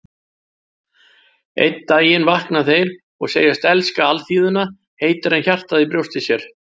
Einn daginn vakna þeir og segjast elska alþýðuna heitar en hjartað í brjósti sér.